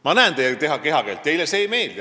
Ma loen teie kehakeelest välja, et teile see ei meeldi.